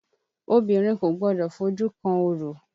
Obìnrin kò gbọdọ̀ fojú kan orò